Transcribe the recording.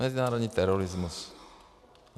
Mezinárodní terorismus.